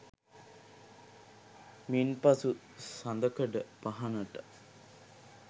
මින්පසු සඳකඩ පහණට